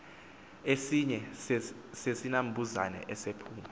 esinye sezinambuzane esaphuma